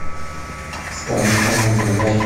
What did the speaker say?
стамптаун врубай